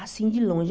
Assim, de longe.